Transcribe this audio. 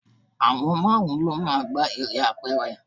Àwọn márùn-ún lọ máa ń gbá eré apẹ̀rẹ̀.